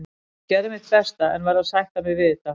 Ég gerði mitt besta en verð að sætta mig við þetta.